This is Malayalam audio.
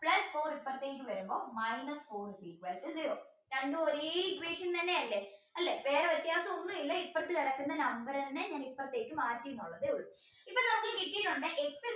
plus four ഇപ്പുറത്തേക്ക് വരുമ്പോൾ minus four is equal to zero രണ്ടും ഒരേ equation തന്നെയല്ലേ അല്ലേ വേറെ വ്യത്യാസമൊന്നുമില്ല അപ്പുറത്ത് കിടക്കുന്ന number തന്നെ ഇപ്പുറത്തേക്ക് മാറ്റി എന്നതേയുള്ളൂ